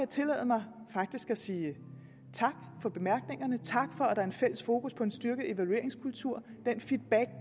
tillade mig at sige tak for bemærkningerne tak for at der er en fælles fokus på en styrket evalueringskultur